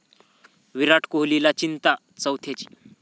विराट कोहलीला चिंता 'चौथ्या'ची